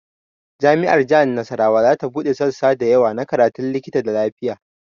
Jami'ar jihar Nasarawa ta buɗe sassa da yawa na karatun likita da lafiya